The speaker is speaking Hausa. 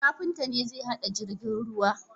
Kafinta ne zai hada jirgin ruwa